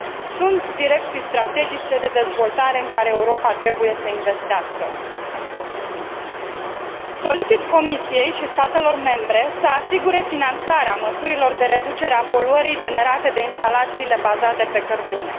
sunt direcții strategice de dezvoltare în care Europa trebuie să investească. Solicit Comisiei și statelor membre să asigure finanțarea măsurilor de reducere a poluării generate de instalațiile bazate pe cărbune.